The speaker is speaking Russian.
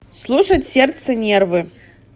слушать сердце нервы